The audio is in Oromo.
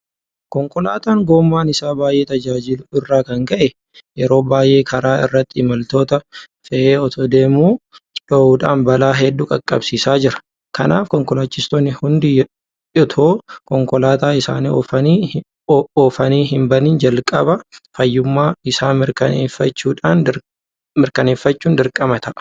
Konkolaataan gommaan isaa baay'ee tajaajiluu irraa kan ka'e yeroo baay'ee karaa irratti imaltoota fe'ee itoo deemuu dhohuudhaan balaa hedduu qaqqabsiisaa jira. Kanaaf konkolaachistoonni hundi itoo konkolaataa isaanii oofanii hinbahin jalqaba fayyummaa isaa mirkaneeffachuun dirqama ta'a.